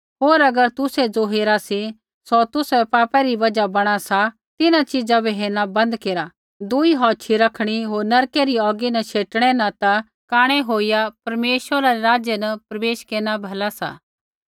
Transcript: होर अगर तुसै ज़ो हेरा सी सौ तुसाबै पापा री बजहा बणा सा तिन्हां च़ीजा बै हेरना बंद केरा दुई औछ़ी रखणी होर नरकी री औगी न शेटिणै न ता कांणै होईया परमेश्वरा रै राज्य न प्रवेश केरना भला सा